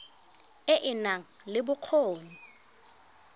e e nang le bokgoni